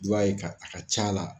ye a ka ca la.